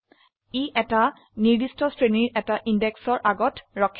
ই এটা নিৰ্দিষ্ট শ্ৰেণীৰ এটা indexৰ আগত ৰখে